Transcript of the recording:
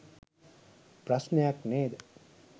ප්‍රශ්නයක් නේද?.